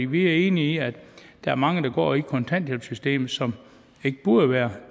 vi er enige i at der er mange der går i kontanthjælpssystemet som ikke burde være